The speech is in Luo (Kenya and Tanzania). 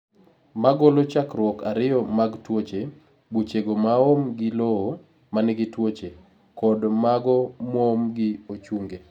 Ma golo chakruok ariyo mag tuoche: Buchego maoom gi lowo manigi tuoche kod mago moom gi ochunge.